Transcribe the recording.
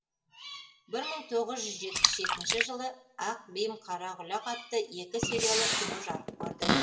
бір мың тоғыз жүз жетпіс жетінші жылы ақ бим қара құлақ атты екі сериялы кино жарық көрді